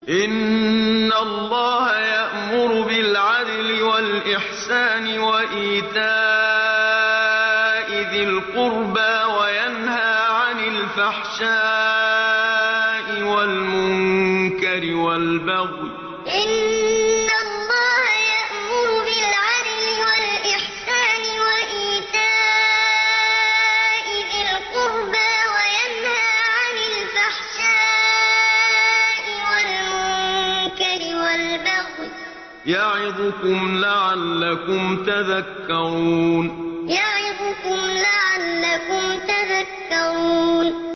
۞ إِنَّ اللَّهَ يَأْمُرُ بِالْعَدْلِ وَالْإِحْسَانِ وَإِيتَاءِ ذِي الْقُرْبَىٰ وَيَنْهَىٰ عَنِ الْفَحْشَاءِ وَالْمُنكَرِ وَالْبَغْيِ ۚ يَعِظُكُمْ لَعَلَّكُمْ تَذَكَّرُونَ ۞ إِنَّ اللَّهَ يَأْمُرُ بِالْعَدْلِ وَالْإِحْسَانِ وَإِيتَاءِ ذِي الْقُرْبَىٰ وَيَنْهَىٰ عَنِ الْفَحْشَاءِ وَالْمُنكَرِ وَالْبَغْيِ ۚ يَعِظُكُمْ لَعَلَّكُمْ تَذَكَّرُونَ